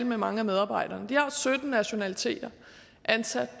med mange af medarbejderne de har sytten nationaliteter ansat